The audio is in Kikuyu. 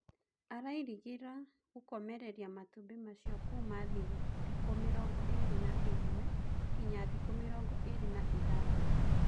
Arairigirira gũkomereria matumbĩ macio kuuma thikũ mĩrongo ĩrĩ na imwe nginya thikũ mĩrongo irĩ na ithathatũ.